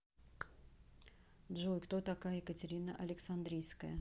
джой кто такая екатерина александрийская